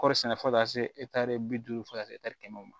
Kɔri sɛnɛ fo ka taa se bi duuru fo ka taa se kɛmɛ ma